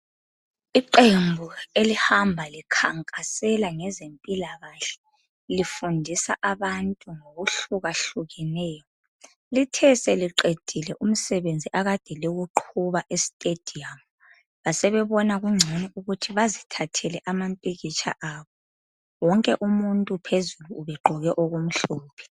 Iqembu elihamba likhankasela ngezempilakahle lifundisa abantu ngokuhlukahlukeneyo lithe seliqedile umsebenzi akade liwuqhuba e stadium basebebona kungcono ukuthi bazithathele amapikitsha abo. Wonke umuntu phezulu ubegqoke okumhlophe.